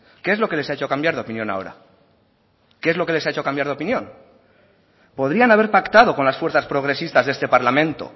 qué es lo que les ha hecho cambiar de opinión ahora qué es lo que les ha hecho cambiar de opinión podrían haber pactado con las fuerzas progresistas de este parlamento